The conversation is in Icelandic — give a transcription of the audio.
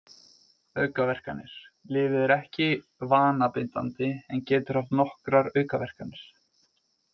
Aukaverkanir Lyfið er ekki vanabindandi en getur haft nokkrar aukaverkanir.